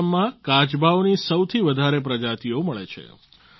આસામમાં કાચબાઓની સૌથી વધારે પ્રજાતિઓ મળે છે